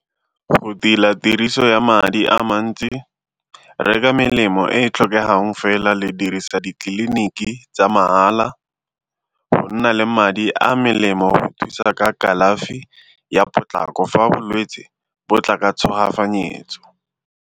Go tila tiriso ya madi a mantsi, reka melemo e e tlhokegang fela le dirisa ditleliniki tsa mahala, go nna le madi a melemo go thusa ka kalafi ya potlako fa bolwetsi bo tla ka .